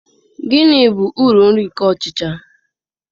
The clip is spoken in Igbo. Gịnị bụ uru nri nke ọchịcha?